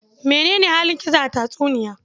Mene ne halin Gizo a tatsuniya?